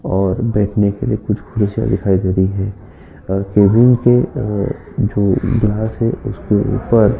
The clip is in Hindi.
और बैठने के लिए कुछ कुर्सीया दिखाई दे रही है और कैबिन के जो ग्लास है उसके ऊपर --